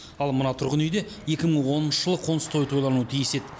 ал мына тұрғын үйде екі мың оныншы жылы қоныс тойы тойлануы тиіс еді